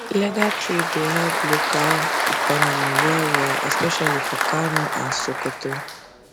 leather trade dey help local economy well well especially for kano and sokoto